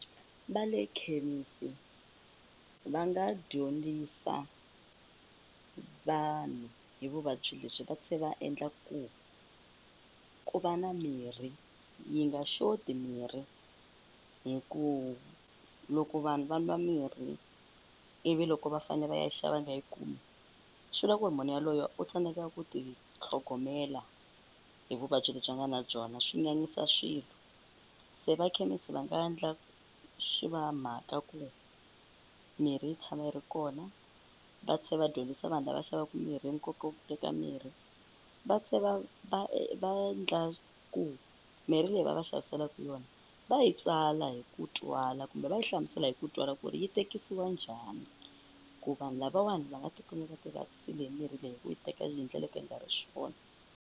Va le khemisi va nga dyondzisa vanhu hi vuvabyi lebyi va tlhe va endla ku ku va na mirhi yi nga xoti mirhi hi ku loko vanhu va nwa mirhi ivi loko va fane va ya xava va nga yi kumi swivula ku ri munhu yaloye u tsandzeka ku ti tlhogomela hi vuvabyi lebyi a nga na byona swi nyanyisa swilo se vakhemisi va nga ndla swi va mhaka ku mirhi yi tshama yi ri kona va tlhe va dyondzisa vanhu lava xavaku mirhi hi nkoka wa ku teka mirhi va tlhe va va va ndla ku mirhi leyi va va xaviselaku yona va yi tsala hi ku twala kumbe va yi hlamusela hi ku twala ku ri yi tekisiwa njhani ku vanhu lavawani va nga tikumi va ti vavisile hi mirhi leyi hi ku yi teka hi ndlela yo ka yi nga ri swona.